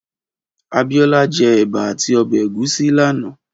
Abiola jè èbà àtí òbè égúsì làná